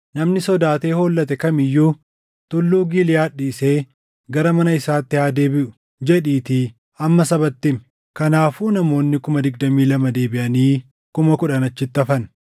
‘Namni sodaatee hollate kam iyyuu Tulluu Giliʼaad dhiisee gara mana isaatti haa deebiʼu’ jedhiitii amma sabatti himi.” Kanaafuu namoonni kuma digdamii lama deebiʼanii kuma kudhan achitti hafan.